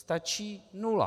Stačí nula.